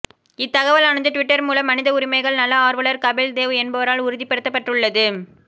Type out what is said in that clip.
இத்தகவலானது Twitter மூலம் மனித உரிமைகள் நல ஆர்வலர் கபில் தேவ் என்பவரால் உறுதிப் படுத்தப் பட்டுள்ளது